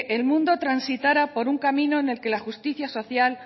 el mundo transitara por un camino en que la justicia social